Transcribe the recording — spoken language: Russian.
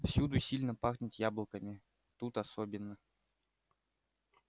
всюду сильно пахнет яблоками тут особенно